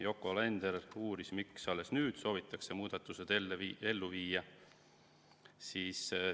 Yoko Alender uuris, miks alles nüüd soovitakse muudatused ellu viia.